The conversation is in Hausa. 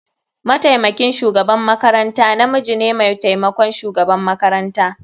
Mataimakin shugaban makaranta namiji ne mai taimakon shugaban makaranta.